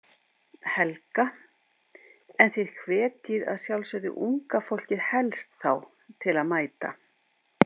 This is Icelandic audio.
Helga: En þið hvetjið að sjálfsögðu unga fólkið helst þá til að mæta?